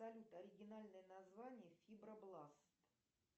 салют оригинальное название фибробласт